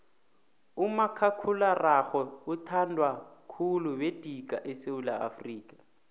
umakhakhulararhwe uthandwa khulu madika esewula afrika